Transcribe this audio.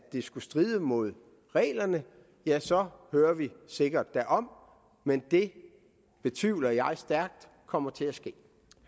det skulle stride mod reglerne så hører vi sikkert derom men det betvivler jeg stærkt kommer til at ske